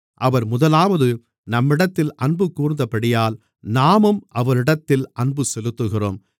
அவர் முதலாவது நம்மிடத்தில் அன்பு கூர்ந்தபடியால் நாமும் அவரிடத்தில் அன்பு செலுத்துகிறோம்